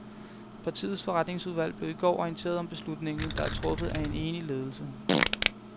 Partiets forretningsudvalg blev i går orienteret om beslutningen, der er truffet af en enig ledelse.